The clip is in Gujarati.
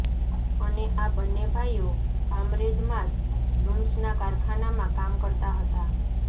અને આ બંને ભાઈઓ કામરેજમાં જ લુમ્સના કારખાનામાં કામ કરતા હતા